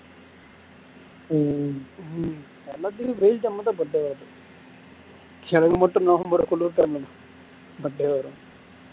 உம் எனக்கு மட்டும் November birthday வரும்